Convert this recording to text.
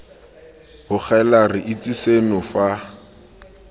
bogela re itse seno fa